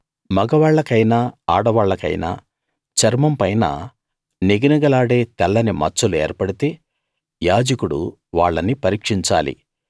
మగవాళ్ళకైనా ఆడవాళ్లకైనా చర్మం పైన నిగనిగలాడే తెల్లని మచ్చలు ఏర్పడితే యాజకుడు వాళ్ళని పరీక్షించాలి